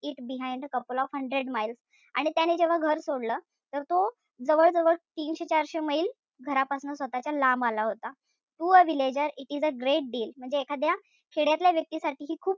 It behind a couple of hundred miles आणि त्याने जेव्हा घर सोडलं, तर तो जवळ-जवळ तीनशे-चारशे मैल घरापासन स्वतःच्या लांब आला होता. To a villager it was a great deal म्हणजे एखाद्या खेड्यातल्या व्यक्तीसाठी ती खूप,